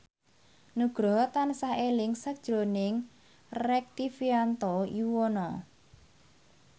Nugroho tansah eling sakjroning Rektivianto Yoewono